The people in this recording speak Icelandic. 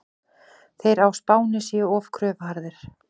Þeir á Spáni séu of kröfuharðir.